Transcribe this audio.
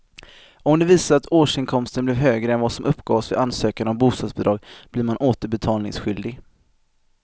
Om det visar sig att årsinkomsten blev högre än vad som uppgavs vid ansökan om bostadsbidrag blir man återbetalningsskyldig.